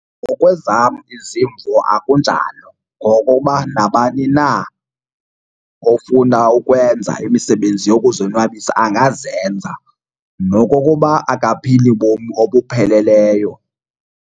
Ngokwezam izimvo akunjalo ngokuba nabani na ofuna ukwenza imisebenzi yokuzonwabisa angazenza nokokuba akaphili bomi obupheleleyo.